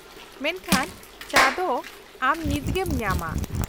ᱢᱮᱱᱠᱷᱟᱱ, ᱪᱟ ᱫᱚ ᱟᱢ ᱱᱤᱛᱜᱮᱢ ᱧᱟᱢᱟ ᱾